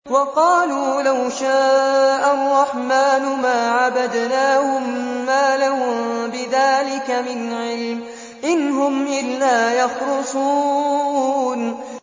وَقَالُوا لَوْ شَاءَ الرَّحْمَٰنُ مَا عَبَدْنَاهُم ۗ مَّا لَهُم بِذَٰلِكَ مِنْ عِلْمٍ ۖ إِنْ هُمْ إِلَّا يَخْرُصُونَ